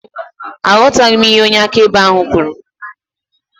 Aghọtaghị m ihe onye akaebe ahụ kwuru